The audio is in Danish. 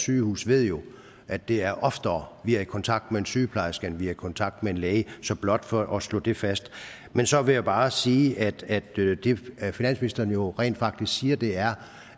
sygehus ved jo at det er oftere vi er i kontakt med en sygeplejerske end vi er i kontakt med en læge så blot for at slå det fast men så vil jeg bare sige at det finansministeren jo rent faktisk siger er